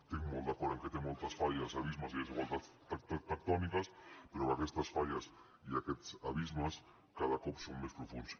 estic molt d’acord que té moltes falles abismes i desigualtats tectòniques però aquestes falles i aquests abismes cada cop són més profunds